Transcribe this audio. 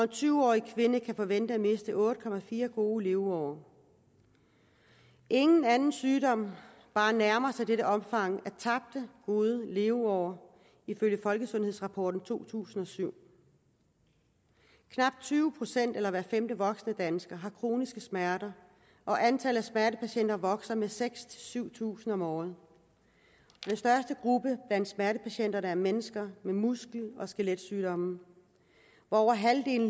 tyve årig kvinde kan forvente at miste otte år gode leveår ingen anden sygdom bare nærmer sig dette omfang af tabte gode leveår ifølge folkesundhedsrapporten danmark to tusind og syv knap tyve procent eller hver femte voksne dansker har kroniske smerter og antallet af smertepatienter vokser med seks syv tusind om året den største gruppe blandt smertepatienterne er mennesker med muskel og skeletsygdomme og her